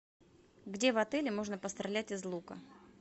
где в отеле можно пострелять из лука